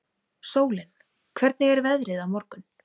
Sólín, hvernig er veðrið á morgun?